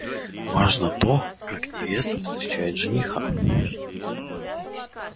важно то как невеста встречает жениха